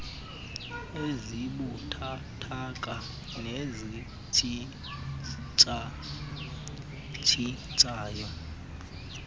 ezibuthathaka nezitshintsha tshintshayo